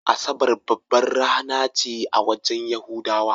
Asabar babbar rana ce a wajen yahudawa.